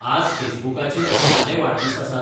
आज फेसबुकाचेर कोणाले वाडदीस आसात?